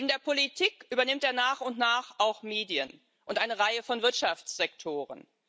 Neben der Politik übernimmt er nach und nach auch Medien und eine Reihe von Wirtschaftssektoren.